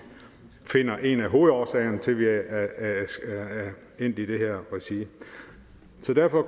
finder en af hovedårsagerne til at vi er endt i det her regi